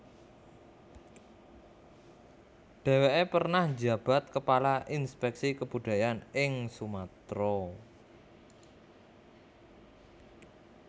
Deweke pernah njabat kepala Inspeksi Kebudayaan ing Sumatera